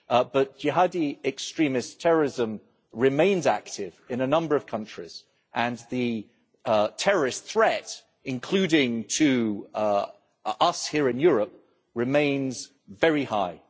but Jihadi extremist terrorism remains active in a number of countries and the terrorist threat including to us here in Europe remains very high.